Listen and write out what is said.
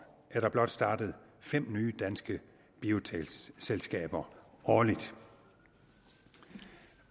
er der blot startet fem nye danske biotekselskaber årligt